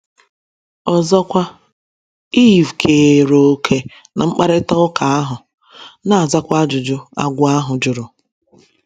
Ọzọkwa, Iv keere òkè ná mkparịta ụka ahụ, na - aza ajụjụ agwọ ahụ jụrụ.